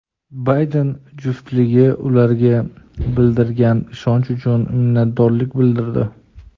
Bayden juftligi ularga bildirilgan ishonch uchun minnatdorlik bildirdi.